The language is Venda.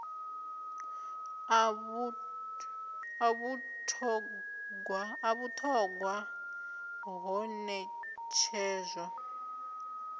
a vhut hogwa ho netshedzwa